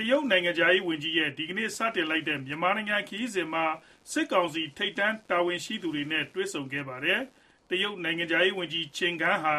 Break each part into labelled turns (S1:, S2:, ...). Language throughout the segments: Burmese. S1: တရုတ်နိုင်ငံခြားရေး ဝန်ကြီးရဲ့ ဒီကနေ့ စတင်လိုက်တဲ့ မြန်မာနိုင်ငံ ခရီးစဉ်မှာ စစ်ကောင်စီ ထိပ်တန်းတာဝန်ရှိသူတွေဲ့ တွေ့ဆုံခဲ့ပါတယ်။ တရုတ်နိုင်ငံခြားရေးဝန်ကြီး Qin Gang (ချင် ဂန်) ဟာ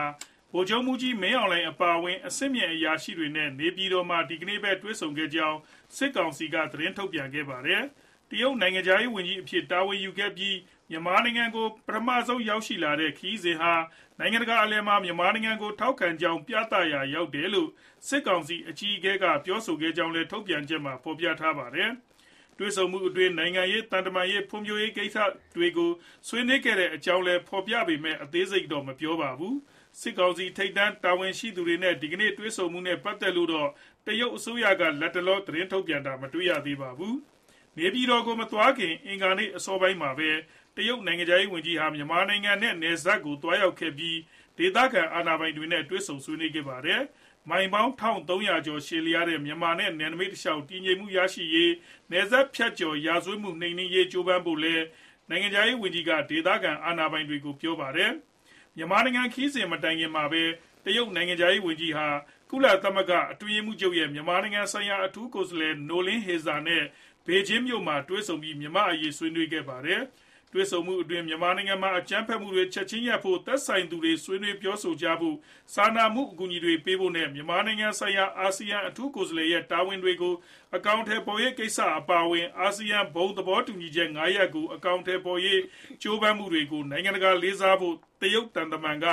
S1: ဗိုလ်ချုပ်မှူးကြီး မင်းအောင်လှိုင် အပါအဝင် အဆင့်မြင့် အရာရှိတွေနဲ့ နေပြည်တော်မှာ ဒီကနေ့ပဲ တွေ့ဆုံခဲ့ကြောင်း စစ်ကောင်စီက သတင်းထုတ်ပြန်ခဲ့တာပါ။ တရုတ်နိုင်ငံခြားရေး ဝန်ကြီးအဖြစ် တာဝန်ယူပြီး မြန်မာနိုင်ငံကို ပထမဆုံးအကြိမ် ခရီးစဉ်ဟာ နိုင်ငံတကာ အလယ်မှာ မြန်မာနိုင်ငံကို ထောက်ခံကြောင်း ပြသရာ ရောက်တယ်လို့ စစ်ကောင်စီ အကြီးအကဲက ပြောဆိုခဲ့ကြောင်းလည်း ထုတ်ပြန်ချက်မှာ ဖော်ပြထားပါတယ်။ တွေ့ဆုံမှုအတွင်း နိုင်ငံရေး၊ သံတမန်ရေး၊ ဖွံ့ဖြိုးရေး ကိစ္စတွေကို ဆွေးနွေးခဲ့ကြောင်းလည်း ဖော်ပြပေမဲ့ အသေးစိတ်တော့ မပြောပါဘူး။ စစ်ကောင်စီ ထိပ်တန်း တာဝန်ရှိသူတွေနဲ့ ဒီကနေ့ တွေ့ဆုံမှုနဲ့ ပတ်သက်လို့တော့ တရုတ်အစိုးရက လတ်တလော သတင်းထုတ်ပြန်တာ မတွေ့ရသေးပါဘူး။ နေပြည်တော်ကို မသွားခင် အင်္ဂါနေ့အစောပိုင်းမှာပဲ တရုတ်နိုင်ငံခြားရေးဝန်ကြီးဟာ မြန်မာနိုင်ငံနဲ့ နယ်စပ်ကို သွားရောက်ခဲ့ပြီး ဒေသခံ အာဏာပိုင်တွေနဲ့လည်း တွေ့ဆုံခဲ့တာပါ။ မိုင်ပေါင်း ၁၃၀၀ ကျော်ရှည်လျားတဲ့ မြန်မာနဲ့ နယ်နိမိတ်တလျှောက် တည်ငြိမ်မှုရှိရေးနဲ့ နယ်စပ်ဖြတ်ကျော် ရာဇဝတ်မှုတွေ နှိမ်နင်းရေး ကြိုးပမ်းဖို့လည်း နိုင်ငံခြားရေးဝန်ကြီးက ဒေသခံအာဏာပိုင်တွေကို ပြောခဲ့ပါတယ်။ ွမြန်မာနိုင်ငံ ခရီးစဉ် မတိုင်ခင်မှာပဲ တရုတ်နိုင်ငံခြားရေး ဝန်ကြီးဟာ ကုလသမဂ္ဂအတွင်းရေးမှူးချုပ်ရဲ့ မြန်မာနိုင်ငံဆိုင်ရာ အထူးကိုယ်စားလှယ် Noeleen Heyzer နဲ့ ဘေဂျင်းမြို့တော်မှာ တွေ့ဆုံပြီး မြန်မာ့အရေး ဆွေးနွေးခဲ့ပါတယ်။ တွေ့ဆုံမှုအတွင်း မြန်မာနိုင်ငံမှာ အကြမ်းဖက်မှုတွေ ချက်ခြင်းရပ်ဖို့၊ သက်ဆိုင်သူတွေ ဆွေးနွေးပြောဆိုဖို့၊ စာနာမှုအကူအညီတွေ ပေးဖို့နဲ့ မြန်မာနိုင်ငံဆိုင်ရာ အာဆီယံ အထူးကိုယ်စားလှယ်ရဲ့ တာဝန်တွေကို အကောင်အထည် ဖော်နိုင်ရေး ကိစ္စတွေအပါအဝင် အာဆီယံ ဘုံသဘောတူညီချက် ၅ ရပ်ကို အကောင်အထည် ဖော်နိုင်ရေး ကြိုးပမ်းမှုတွေကို နိုင်ငံတကာက လေးစားဖို့ တရုတ်သံတမန်က